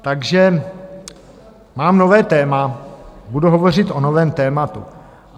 Takže mám nové téma, budu hovořit o novém tématu.